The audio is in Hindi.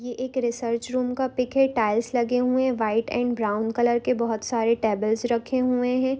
यह एक रिसर्च रुम का पिक है टायल्स लगे हुए है वाईट एंड ब्रवुन कलर के बहुत सारे टेबल्स रखे हुए है ।